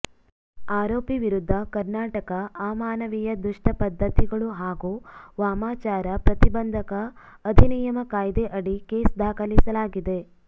ಆರೋಪಿ ವಿರುದ್ಧ ಕರ್ನಾಟಕ ಅಮಾನವೀಯ ದುಷ್ಟ ಪದ್ಧತಿಗಳು ಹಾಗೂ ವಾಮಾಚಾರ ಪ್ರತಿಬಂಧಕ ಅಧಿನಿಯಮ ಕಾಯ್ದೆ ಅಡಿ ಕೇಸ್ ದಾಖಲಿಸಲಾಗಿದೆ